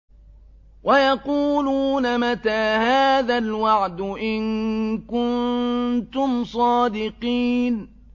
وَيَقُولُونَ مَتَىٰ هَٰذَا الْوَعْدُ إِن كُنتُمْ صَادِقِينَ